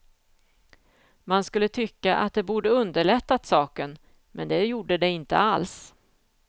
Man skulle tycka att det borde underlättat saken, men det gjorde det inte alls.